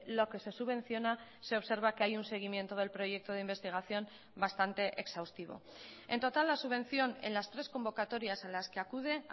lo que se subvenciona se observa que hay un seguimiento del proyecto de investigación bastante exhaustivo en total la subvención en las tres convocatorias a las que acude